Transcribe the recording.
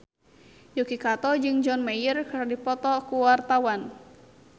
Yuki Kato jeung John Mayer keur dipoto ku wartawan